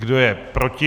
Kdo je proti?